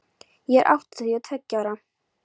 Ég er áttatíu og tveggja ára.